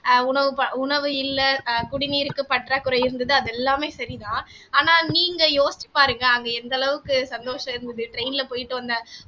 ஆஹ் உணவு ப உணவு இல்லை அஹ் குடிநீருக்கு பற்றாக்குறை இருந்தது அது எல்லாமே சரிதான் ஆனா நீங்க யோசிச்சுப் பாருங்க அங்கே எந்த அளவுக்கு சந்தோஷம் இருந்தது train ல போயிட்டு வந்த